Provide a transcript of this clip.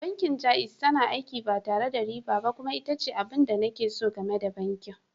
Bankin Jaiz tana aiki ba tare da riba ba kuma ita ce abin da nake so game da bankin.